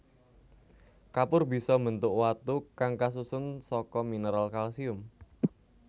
Kapur bisa mbentuk watu kang kasusun saka mineral kalsium